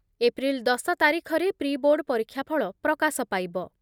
April ଦଶ ତାରିଖରେ pre board ପରୀକ୍ଷାଫଳ ପ୍ରକାଶ ପାଇବ ।